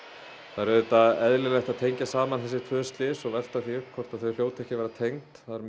það er auðvitað eðlilegt að tengja saman þessi tvö slys og velta því upp hvort þau hljóti ekki að vera tengd það er